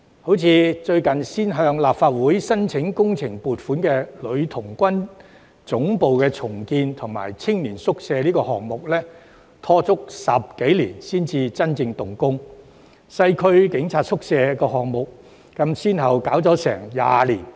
正如最近才向立法會申請工程撥款的重建女童軍總部暨青年宿舍項目，便拖沓了10多年才真正動工，而西區警察宿舍項目更先後歷經近20年。